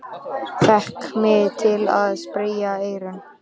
Fékk mig til að sperra eyru.